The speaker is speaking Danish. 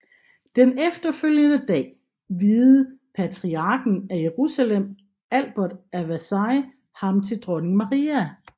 Den efterfølgende dag viede patriarken af Jerusalem Albert af Vercelli ham til dronning Maria